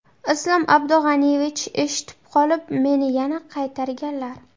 Islom Abdug‘aniyevich eshitib qolib, meni yana qaytarganlar.